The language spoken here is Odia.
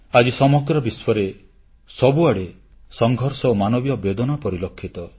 ଆଜି ସମଗ୍ର ବିଶ୍ୱରେ ସବୁଆଡ଼େ ସଂଘର୍ଷ ଓ ମାନବୀୟ ବେଦନା ପରିଲକ୍ଷିତ